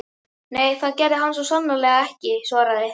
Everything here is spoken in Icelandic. Nei, það gerði hann svo sannarlega ekki- svaraði